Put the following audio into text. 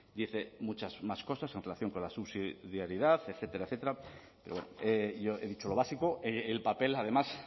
dice muchas más cosas en relación con la subsidiariedad etcétera etcétera pero bueno yo he dicho lo básico el papel además